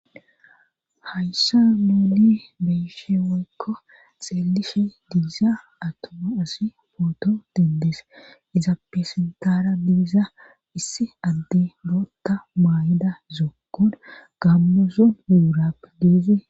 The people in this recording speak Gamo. Hayssa muuli beishe woykko xeelishe diiza atoma asi pooto dendees iza pesentara didiza issi adde bootta maay7ida zokkon gammuzo yuurappe diizi